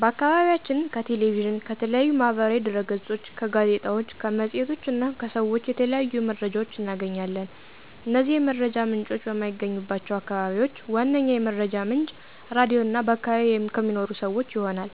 በአከባቢያችን ከ ቴሌቪዥን፣ ከተለያዩ ማህበራዊ ድህረገጾች፣ ጋዜጣዎች፣ መፅሔቶች እና ሰዎች የተለያዩ መረጃዎች እናገኛለን። እነዚህ የመረጃ ምንጮች በማይገኙባቸው አከባቢዎች ዋነኛ የመረጃ ምንጭ ራድዮ እና በአከባቢ ከሚኖሩ ሰወች ይሆናል።